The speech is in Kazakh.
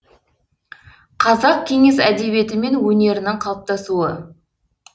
қазақ кеңес әдебиеті мен өнерінің қалыптасуы